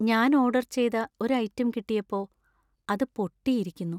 ഞാൻ ഓർഡർ ചെയ്ത ഒരു ഐറ്റം കിട്ടിയപ്പോ അത് പൊട്ടിയിയിരിക്കുന്നു.